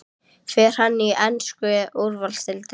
Fer hann í ensku úrvalsdeildina?